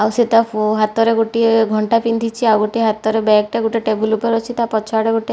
ଆଉ ସେ ତା ହାତରେ ଗୋଟିଏ ଘଣ୍ଟା ପିନ୍ଧିଛି ଆଉ ଗୋଟିଏ ହାତରେ ବ୍ୟାଗ୍ ଟା ଟେବୁଲ ଉପରେ ଅଛି ତା ପଛଆଡ଼େ ଗୋଟେ --